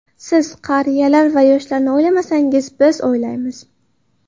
Siz qariyalar va yoshlarni o‘ylamasangiz, biz o‘ylaymiz.